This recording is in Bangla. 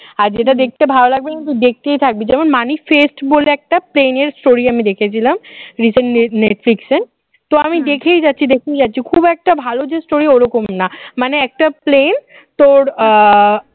আর যেটা দেখতে ভালো লাগবে না দেখতেই থাকবি যেমন মানিক fest বলে একটা প্রেমের story আমি দেখেছিলাম recently net net fiction তো আমি দেখেই যাচ্ছি দেখেই যাচ্ছি খুব একটা ভালো যে story ওরকম না মানে একটা plane তোর আহ